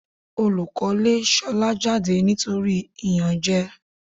Olùkọ́ lé Ṣolá jáde ní nítorí ìyànjẹ.